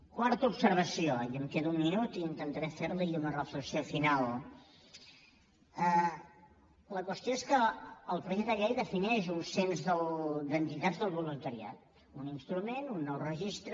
quarta observació i em queda un minut i intentaré ferla i una reflexió final la qüestió és que el projecte de llei defineix un cens d’entitats del voluntariat un instrument un nou registre